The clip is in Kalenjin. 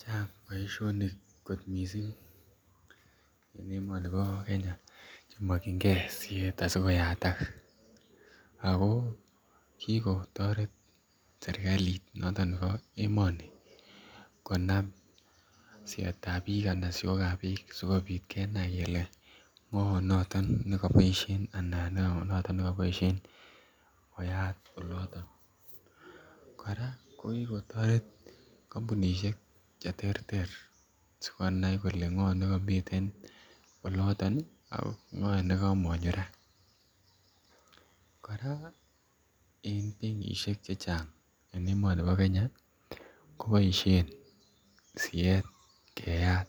Chang boisionik kot missing en emoni Bo Kenya Che mokyin gee siet ask koyatak ako kikotoret serkalit noton nebo emoni konam sietab biik ana siokab biik sikopit kenae kelee ngo noton me koboishen anan ngo noton ne koboishen koyat olotok. Koraa ko toreti kompunishek Che terter sikonai kolee ngo nekomiten oloton ii ak NGO nekomonyo raa, en benkishel chechang en emoni bo Kenya koboishen siet Keyat